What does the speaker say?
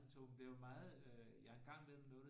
Med tog men det er jo meget øh jeg har engang været med noget der